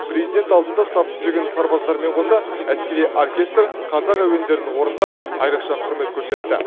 президент алдында сап түзеген сарбаздармен қоса әскери оркестр қазақ әуендерін орындап айрықша құрмет көрсетті